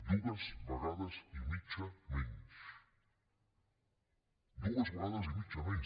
dues vegades i mitja menys dues vegades i mitja menys